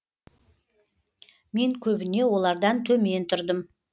мен көбіне олардан төмен тұрдым